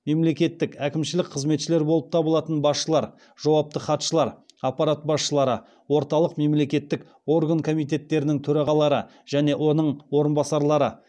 мемлекеттік әкімшілік қызметшілер болып табылатын басшылар жауапты хатшылар аппарат басшылары орталық мемлекеттік орган комитеттерінің төрағалары және оның орынбасарлары